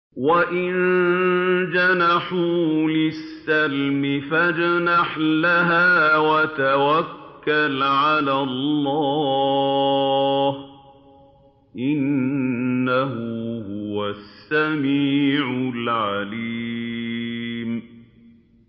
۞ وَإِن جَنَحُوا لِلسَّلْمِ فَاجْنَحْ لَهَا وَتَوَكَّلْ عَلَى اللَّهِ ۚ إِنَّهُ هُوَ السَّمِيعُ الْعَلِيمُ